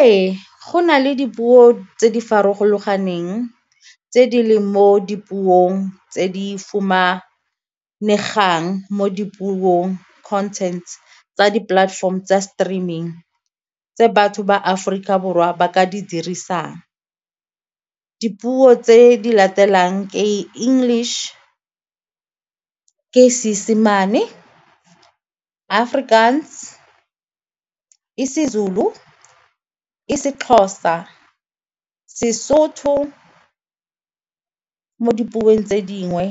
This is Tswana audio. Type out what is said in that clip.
Ee, go na le dipuo tse di tse di leng mo dipuong tse di fumanegang mo dipuong, contents, tsa di-platform tsa streaming tse batho ba Aforika Borwa ba ka di dirisang. Dipuo tse di latelang ke English, ke Seesemane, Afrikaans, isiZulu, isiXhosa, seSotho mo dipuong tse dingwe